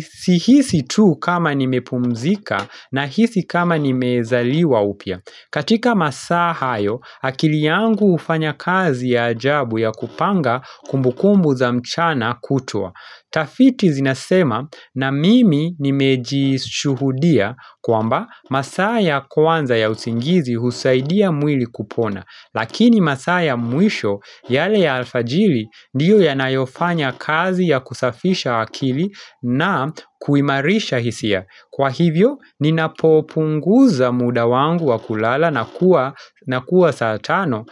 sihisi tu kama nimepumzika na hisi kama nimezaliwa upya katika masa hayo akili yangu hufanya kazi ya ajabu ya kupanga kumbukumbu za mchana kutwa Tafiti zinasema na mimi nimejishuhudia kwamba masaa ya kwanza ya usingizi husaidia mwili kupona Lakini masaa ya mwisho yale ya alfajiri ndiyo yanayofanya kazi ya kusafisha akili na kuimarisha hisia. Kwa hivyo ninapopunguza muda wangu wa kulala na kuwa satano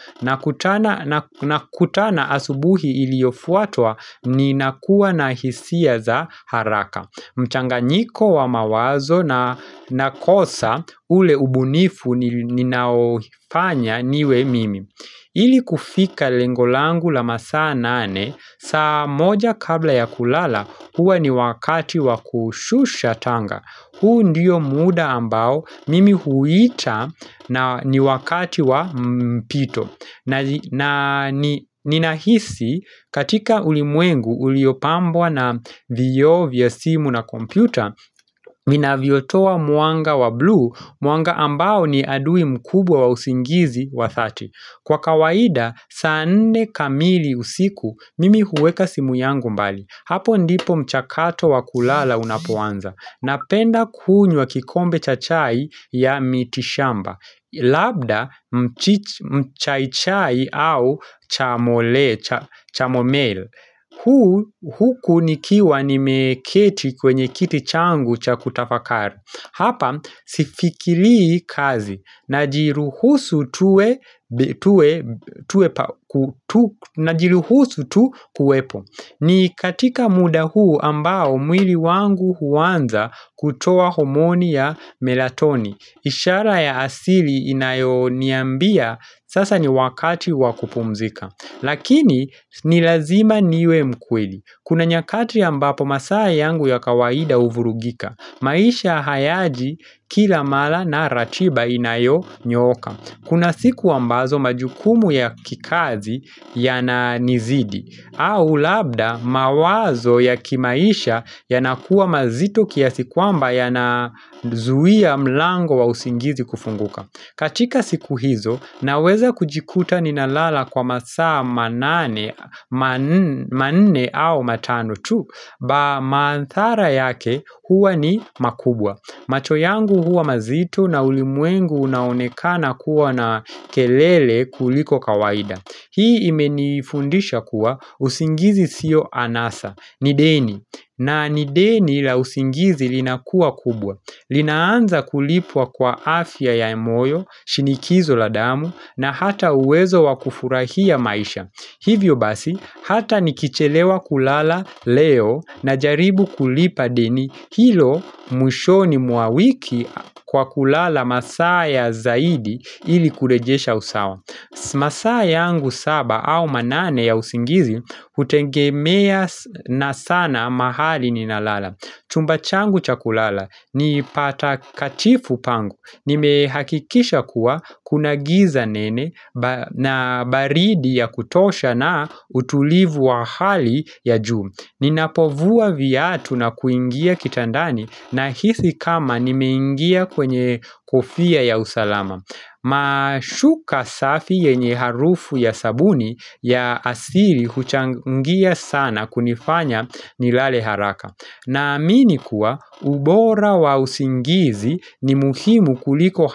na kutana asubuhi iliyofutwa ninakuwa na hisia za haraka. Mchanganyiko wa mawazo na nakosa ule ubunifu ninaofanya niwe mimi Ili kufika lengo langu la masaa nane sa moja kabla ya kulala huwa ni wakati wa kushusha tanga huu ndiyo muda ambao mimi huwita na ni wakati wa mpito na nina hisi katika ulimwengu uliopambwa na vioo vya simu na kompyuta viinavyotowa mwanga wa blue Mwanga ambao ni adui mkubwa wa usingizi wa 30 Kwa kawaida, sane kamili usiku Mimi huweka simu yangu mbali Hapo ndipo mchakato wa kulala unapoanza Napenda kunywa kikombe cha chai ya mitishamba Labda mchi mchachai au chamomel Huku nikiwa nimeketi kwenye kiti changu cha kutafakara Hapa sifikilii kazi na jiruhusu tuwe tuwe tuwepa najiruhusu tu kuwepo ni katika muda huu ambao mwili wangu huanza kutoa homoni ya melatoni ishara ya asili inayoniambia sasa ni wakati wakupumzika Lakini ni lazima niwe mkweli Kuna nyakati ambapo masaa yangu ya kawaida huvurugika maisha hayaji kila mala na ratiba inayonyooka Kuna siku ambazo majukumu ya kikazi ya na nizidi au labda mawazo ya kimaisha ya nakuwa mazito kiasi kwamba ya nazuia mlango wa usingizi kufunguka katika siku hizo naweza kujikuta ninalala kwa masaa manane manne au matano tu Ba maanthara yake huwa ni makubwa macho yangu huwa mazito na ulimwengu unaonekana kuwa na kelele kuliko kawaida Hii imenifundisha kuwa usingizi siyo anasa, ni deni. Na ni deni la usingizi linakua kubwa. Linaanza kulipua kwa afya ya emoyo, shinikizo la damu, na hata uwezo wakufurahia maisha. Hivyo basi, hata nikichelewa kulala leo na jaribu kulipa deni hilo mwishoni mwa wiki kwa kulala masaa ya zaidi ili kurejesha usawa. Masaa yangu saba au manane ya usingizi hutengemea na sana mahali ninalala. Chumba changu chakulala ni patakatifu pangu, nimehakikisha kuwa kunagiza nene na baridi ya kutosha na utulivu wa hali ya juu Ninapovua viatu na kuingia kitandani nahisi kama nimeingia kwenye kofia ya usalama Mashuka safi yenye harufu ya sabuni ya asiri huchangia sana kunifanya nilale haraka na amini kuwa ubora wa usingizi ni muhimu kuliko hata.